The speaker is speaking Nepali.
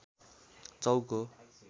चौक हो